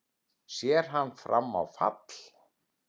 Sér hann fram á fall?